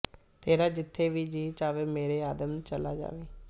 ਤੇਰਾ ਜਿੱਥੇ ਵੀ ਜੀਅ ਚਾਹੇ ਮੇਰੇ ਆਦਮ ਚਲਾ ਜਾਵੀਂ